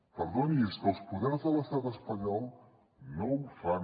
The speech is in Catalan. perdoni és que els poders de l’estat espanyol no ho fan